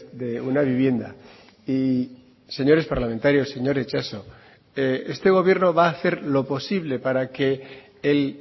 de una vivienda y señores parlamentarios señor itxaso este gobierno va a hacer lo posible para que el